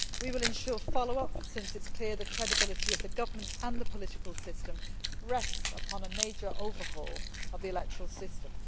We will ensure follow up, since it is clear the credibility of the government and the political system rests upon a major overhaul of the electoral system.